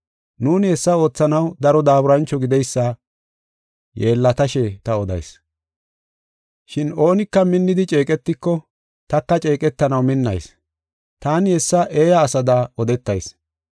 Nuuni hessa oothanaw daro daaburancho gideysa yeellatashe ta odayis. Shin oonika minnidi ceeqetiko, taka ceeqetanaw minnayis. Taani hessa eeya asada odetayis.